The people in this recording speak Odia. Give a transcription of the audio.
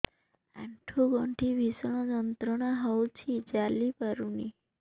ଆଣ୍ଠୁ ଗଣ୍ଠି ଭିଷଣ ଯନ୍ତ୍ରଣା ହଉଛି ଚାଲି ପାରୁନି